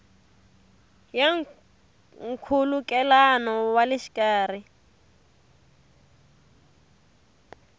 ya nkhulukelano wa le xikarhi